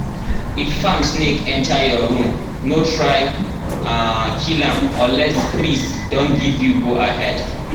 if farm snake enter your room no try um kill am unless priest don give you go-ahead.